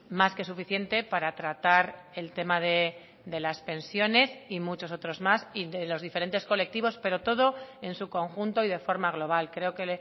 más que suficiente para tratar el tema de las pensiones y muchos otros más y de los diferentes colectivos pero todo en su conjunto y de forma global creo que